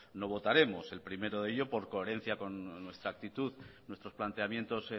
no votaremos el primero de ellos por coherencia con nuestra actitud nuestros planteamientos